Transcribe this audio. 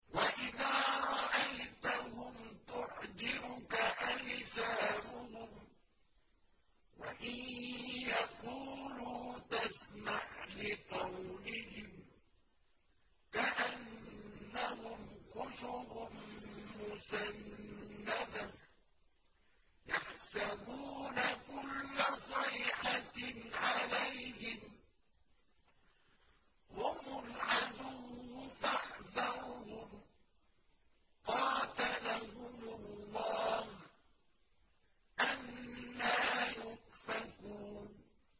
۞ وَإِذَا رَأَيْتَهُمْ تُعْجِبُكَ أَجْسَامُهُمْ ۖ وَإِن يَقُولُوا تَسْمَعْ لِقَوْلِهِمْ ۖ كَأَنَّهُمْ خُشُبٌ مُّسَنَّدَةٌ ۖ يَحْسَبُونَ كُلَّ صَيْحَةٍ عَلَيْهِمْ ۚ هُمُ الْعَدُوُّ فَاحْذَرْهُمْ ۚ قَاتَلَهُمُ اللَّهُ ۖ أَنَّىٰ يُؤْفَكُونَ